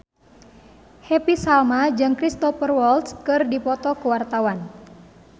Happy Salma jeung Cristhoper Waltz keur dipoto ku wartawan